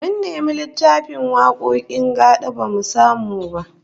Mun nemi littafin wakokin gad'a bamu samu ba